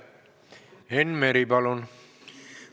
Enn Meri, palun!